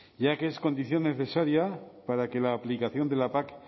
ya que es condición necesaria para que la aplicación de la pac